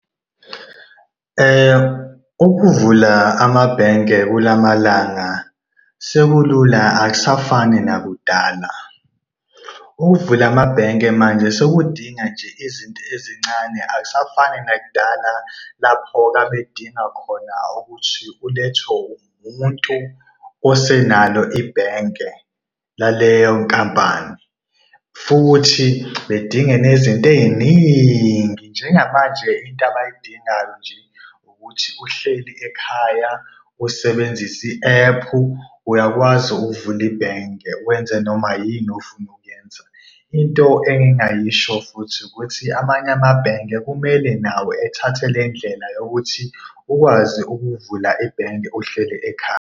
Ukuvula amabhenke kula malanga sekulula akusafani nakudala. Ukuvula amabhenke manje sekudingeka nje izinto ezincane akusafani nakudala lapho babedinga khona ukuthi ulethwe umuntu osenalo ibhenke laleyo nkampani. Futhi bedinga nezinto ey'ningi. Njengamanje into abayidingayo nje ukuthi uhleli ekhaya usebenzise i-ephu, uyakwazi ukuvula ibhenke wenze noma yini ofuna ukuyenza. Into engingayisho futhi ukuthi amanye amabhenge kumele nawo ethathe le ndlela yokuthi ukwazi ukuvula ibhenge uhleli ekhaya.